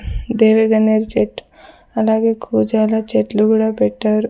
దేవి గన్నేరు చెట్టు అలాగే గోచార చెట్లు కూడా పెట్టారు.